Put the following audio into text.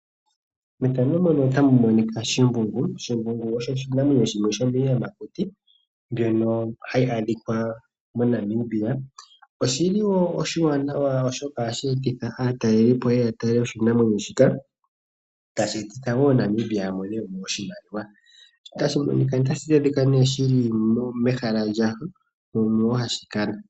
Shimbungu osho shimwe shomiiyamakuti mbyono hayi adhika moNamibia. Ohashi eta aatalelipo moshilongo shetu na ngele aatalelipo taye ya ohaya futu iimaliwa mbyono tayi gwedhako keliko lyoshilongo. Oshinanwenyo shino ohashi adhika metosha.